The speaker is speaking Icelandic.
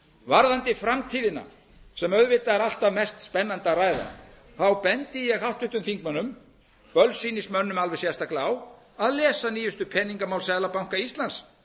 varðandi framtíðina sem auðvitað er alltaf mest spennandi að ræða bendi ég háttvirtum þingmönnum bölsýnismönnum alveg sérstaklega á að lesa nýjustu peningamál seðlabanka íslands